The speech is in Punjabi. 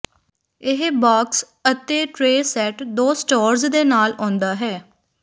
ਇਹ ਬਾਕਸ ਅਤੇ ਟ੍ਰੇ ਸੈੱਟ ਦੋ ਸਟੋਰੇਜ਼ ਦੇ ਨਾਲ ਆਉਂਦਾ ਹੈ